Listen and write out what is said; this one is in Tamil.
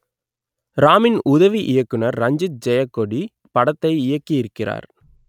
ராமின் உதவி இயக்குனர் ரஞ்சித் ஜெயக்கொடி படத்தை இயக்கியிருக்கிறார்